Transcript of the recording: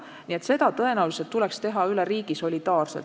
Nii et seda tõenäoliselt tuleks reguleerida üle riigi solidaarselt.